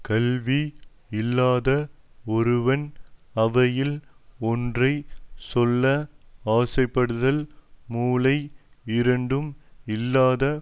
கல்வி இல்லாத ஒருவன் அவையில் ஒன்றை சொல்ல ஆசை படுதல் முலை இரண்டும் இல்லாத